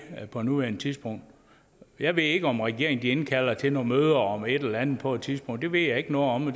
på nuværende tidspunkt jeg ved ikke om regeringen indkalder til nogle møder om et eller andet på et tidspunkt det ved jeg ikke noget om